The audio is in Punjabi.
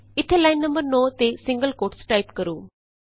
ਇਥੇ ਲਾਈਨ ਨੰਬਰ 9 ਤੇ ਸਿੰਗਲ ਕੋਟਸ ਟਾਈਪ ਕਰੋ